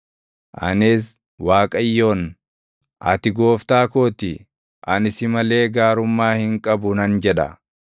Anis Waaqayyoon, “Ati Gooftaa koo ti; ani si malee gaarummaa hin qabu” nan jedha.